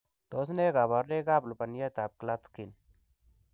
Tos nee koborunoikab lubaniatab Klatskin.